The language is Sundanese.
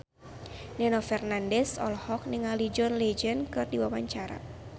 Nino Fernandez olohok ningali John Legend keur diwawancara